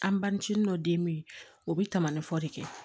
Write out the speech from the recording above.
An bantini dɔ den be yen o bi tama ni fɔ de kɛ